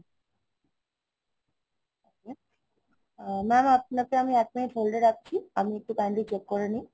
আ~ mam আমি এক minute আপনাকে hold এ রাখছি, আমি একটু kindly check করে নেই